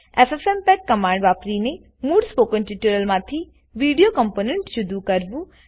FFmpeg command વાપરીને મૂળ spoken ટ્યુટોરીયલમાંથી વિડીઓ કમ્પોનેન્ટ જુદું કરવું